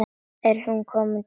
Er kominn dagur?